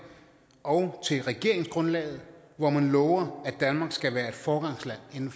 og regeringsgrundlaget hvori man lover at danmark skal være et foregangsland inden